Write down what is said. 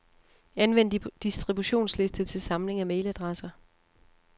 Anvend distributionsliste til samling af mailadresser.